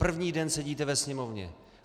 První den sedíte ve Sněmovně?